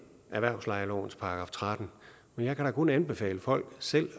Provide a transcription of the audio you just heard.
erhvervslejelovens § trettende men jeg kan da kun anbefale folk selv